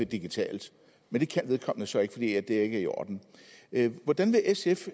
digitalt men det kan vedkommende så ikke fordi er i orden hvordan vil sf